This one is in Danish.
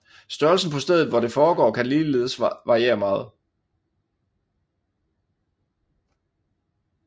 Størrelsen på stedet hvor det foregår kan ligeledes variere meget